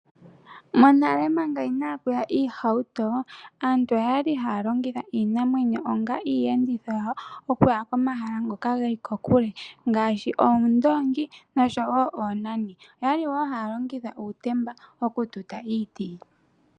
Monale manga inapu ya iihauto, aantu oyali haya longitha iinamwenyo onga iiyenditho yawo okuya komahala ngoka geli kokule ngaashi oondoongi noshowo oonani, oyali woo haya longitha uutemba okututa iiti.